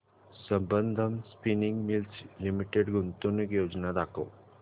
Sambandam spinning mills limited गुंतवणूक योजना दाखव